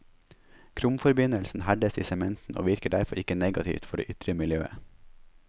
Kromforbindelsen herdes i sementen og virker derfor ikke negativt for det ytre miljøet.